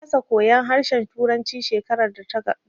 Na kasa koyan harshen turanci shekarar da ta gabata